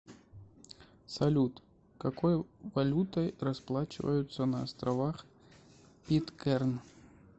салют какой валютой расплачиваются на островах питкэрн